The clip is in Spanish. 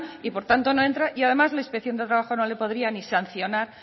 y por lo tanto no entra y además la inspección de trabajo no le podría ni sancionar